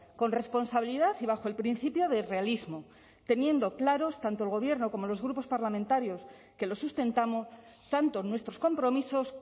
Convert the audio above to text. con responsabilidad y bajo el principio de realismo teniendo claros tanto el gobierno como los grupos parlamentarios que lo sustentamos tanto nuestros compromisos